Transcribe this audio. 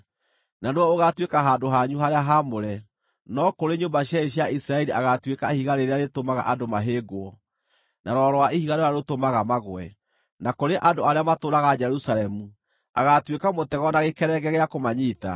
na nĩwe ũgaatuĩka handũ hanyu harĩa haamũre; no kũrĩ nyũmba cierĩ cia Isiraeli agaatuĩka ihiga rĩrĩa rĩtũmaga andũ mahĩngwo, na rwaro rwa ihiga rũrĩa rũtũmaga magũe. Na kũrĩ andũ arĩa matũũraga Jerusalemu agaatuĩka mũtego na gĩkerenge gĩa kũmanyiita.